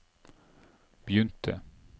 begynte